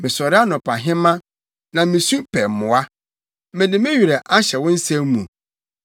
Mesɔre anɔpahema, na misu pɛ mmoa; mede me werɛ ahyɛ wo nsɛm mu.